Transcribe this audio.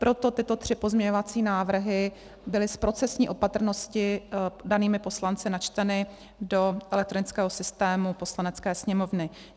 Proto tyto tři pozměňovací návrhy byly z procesní opatrnosti danými poslanci načteny do elektronického systému Poslanecké sněmovny.